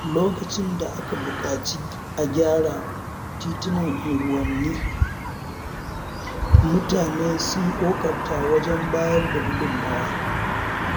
Lokacin da aka buƙaci a gyara titunan unguwanni, mutane sun ƙoƙarta wajen bayar da gudunmawa.